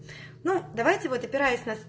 ну давайте вот опираясь на с